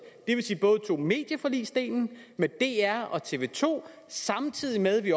det vil sige tog medieforligsdelen med dr og tv to samtidig med at vi